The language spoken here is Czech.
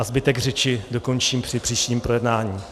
A zbytek řeči dokončím při příštím projednávání.